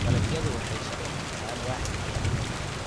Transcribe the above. Dalagyadu waxay shaqo ka helaan waaxda gaadiidka.